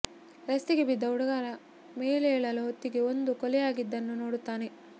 ರಸ್ತೆಗೆ ಬಿದ್ದ ಹುಡುಗ ಮೇಲೆಳುವ ಹೊತ್ತಿಗೆ ಒಂದು ಕೊಲೆ ಆಗಿದ್ದನ್ನು ನೋಡುತ್ತಾನೆ